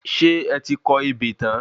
Ṣé ẹ ti kọ ebè tan?